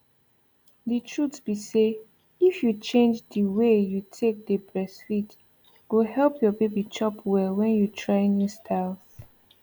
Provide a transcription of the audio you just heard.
the trute be say if you change the way you take dey breastfeed go help your baby chop well when you try new styles